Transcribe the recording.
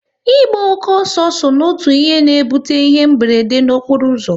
Ịgba oke ọsọ so n'otu ihe na-ebute ihe mberede okporo ụzọ